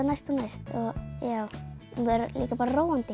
næst og næst og líka bara róandi